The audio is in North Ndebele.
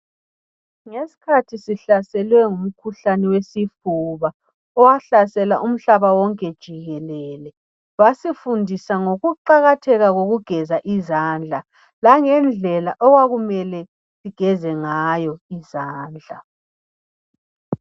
Ngesikhathi sihlaselwe ngumkhuhlane wesifuba owahlasela umhlaba wonke jikelele basifundisa ngokuqakatheka kokugeza izandla langendlela okwakumele sigeze ngayo izandla